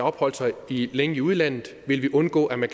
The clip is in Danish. opholdt sig længe i udlandet ville vi undgå at man